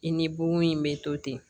I ni bon in bɛ to ten